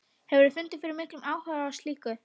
Hefurðu fundið fyrir miklum áhuga á slíku?